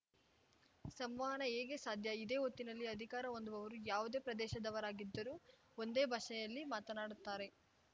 ಸಂವಹನ ಹೇಗೆ ಸಾಧ್ಯ ಇದೇ ಹೊತ್ತಿನಲ್ಲಿ ಅಧಿಕಾರ ಹೊಂದುವವರು ಯಾವುದೇ ಪ್ರದೇಶದವರಾಗಿದ್ದರೂ ಒಂದೇ ಭಾಷೆಯಲ್ಲಿ ಮಾತನಾಡುತ್ತಾರೆ